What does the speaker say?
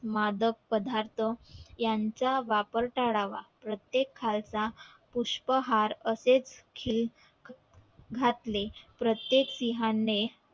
मादक पदार्थ याचा वापर टाळावा प्रत्येक खालसा पुष्पहार असे हे घातले प्रत्येक सिहाने